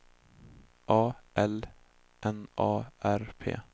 A L N A R P